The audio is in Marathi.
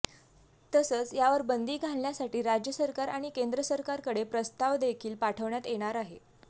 तसंच यावर बंदी घालण्यासाठी राज्य सरकार आणि केंद्र सरकारकडे प्रस्तावदेखील पाठवण्यात येणार आहे